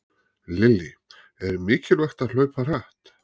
Lillý: Er mikilvægt að hlaupa hratt?